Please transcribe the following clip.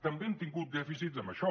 també hem tingut dèficits amb això